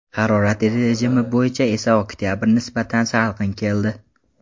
Harorat rejimi bo‘yicha esa oktabr nisbatan salqin keldi.